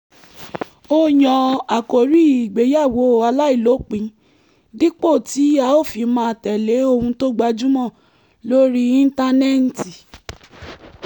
a yan àkòrí ìgbéyàwó aláìlópin dípò tí a ó fi máa tẹ̀lé ohun tó gbajúmọ̀ lórí íńtánẹ́ẹ̀tì